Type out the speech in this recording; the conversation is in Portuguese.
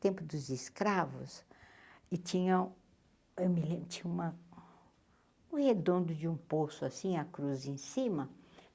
tempo dos escravos, e tinha, eu me lembro, tinha uma um redondo de um poço, assim, a cruza em cima.